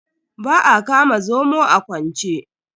Ba a kama zomo a kwance.